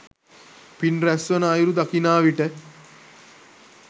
පින් රැස්වන අයුරු දකිනා විට